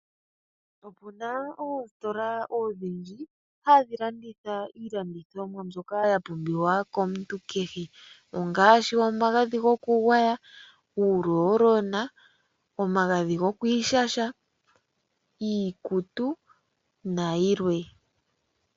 Opena oositola odhindji dhono hadhi landitha iinima oyindji mbyono ya pumbiwa komuntu kehe ngaashi omagadhi gokugwaya, uurolona, omagadhi gokwiishasha, iikutu nayilwe.